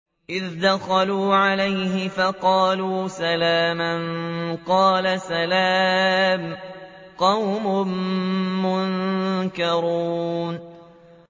إِذْ دَخَلُوا عَلَيْهِ فَقَالُوا سَلَامًا ۖ قَالَ سَلَامٌ قَوْمٌ مُّنكَرُونَ